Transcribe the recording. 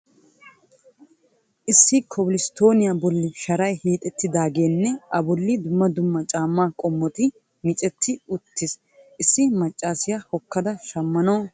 Issi kobil stooniya bolli sharay hiixxettidaageenne a bolli dumma dumma caammaa qommotti miccetti uttiin issi maccaasiya hokkada shammanawu dooraydda de'awusu.